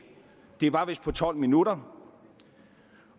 det var vist på tolv minutter